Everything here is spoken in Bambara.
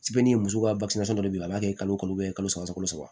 muso ka dɔ bɛ yen a b'a kɛ kalo kalo saba kalo saba